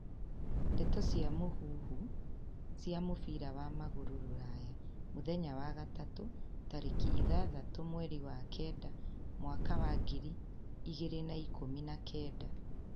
Ndeto cia mũhuhu cia mũbira wa magũrũ Rũraya mũthenya wa gatatũ, tariki ithathatũ mweri wa kenda mwaka ngiri igĩrĩ na ikũmi na kenda.